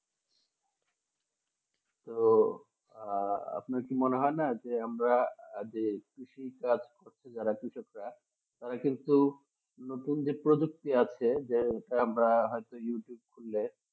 তো আহ আপনার কি মনে হয় না যে আমরা যে কৃষি কাজ করছে যারা কৃষকরা তারা কিন্তু নতুন যে প্রযুক্তি আছে যে আমরা হয়তো youtube খুললে